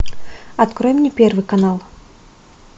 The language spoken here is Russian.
открой мне первый канал